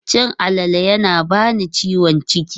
Cin alale yana bani ciwon ciki.